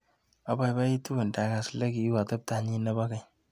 Abaibaitu ndakas likiu ateptonyi nebo keny.